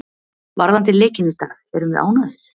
Varðandi leikinn í dag erum við ánægðir.